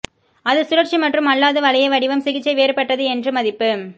அது சுழற்சி மற்றும் அல்லாத வளைய வடிவம் சிகிச்சை வேறுபட்டது என்று மதிப்பு